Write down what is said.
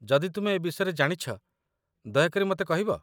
ଯଦି ତୁମେ ଏ ବିଷୟରେ ଜାଣିଛ, ଦୟା କରି ମତେ କହିବ ?